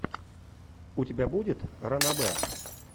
у тебя будет ранобэ